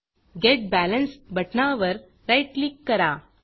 getBalanceगेट balance बटणावर right click करा